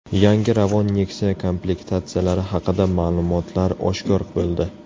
Yangi Ravon Nexia komplektatsiyalari haqida ma’lumotlar oshkor bo‘ldi.